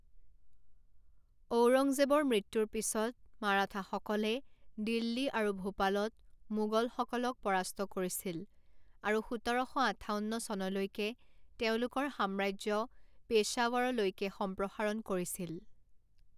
ঔৰংজেবৰ মৃত্যুৰ পিছত মাৰাঠাসকলে দিল্লী আৰু ভোপালত মোগলসকলক পৰাস্ত কৰিছিল আৰু সোতৰ শ আঠাৱন্ন চনলৈকে তেওঁলোকৰ সাম্ৰাজ্য পেশ্বাৱৰলৈকে সম্প্ৰসাৰণ কৰিছিল।